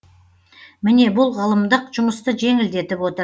міне бұл ғылымдық жұмысты жеңілдетіп отыр